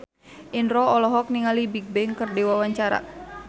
Indro olohok ningali Bigbang keur diwawancara